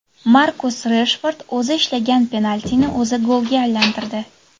Markus Reshford o‘zi ishlagan penaltini o‘zi golga aylantirdi.